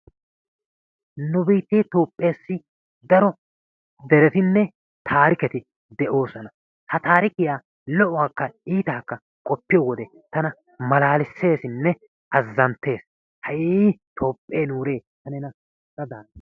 Nu biittee Toophessi daro derettinne taarikketi de'oosona. Ha taarikkiya lo"uwakka iittakka qopiyo wode tana malaalissessinne azzanttees, hayyii Toopheee nuure ta nena da gaana.